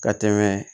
Ka tɛmɛ